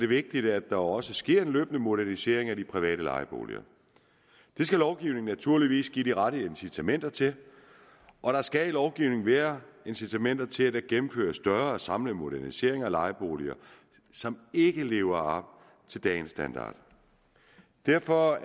vigtigt at der også sker en løbende modernisering af de private lejeboliger det skal lovgivningen naturligvis give de rette incitamenter til og der skal i lovgivningen være incitamenter til at der gennemføres større samlede moderniseringer af lejeboliger som ikke lever op til dagens standard derfor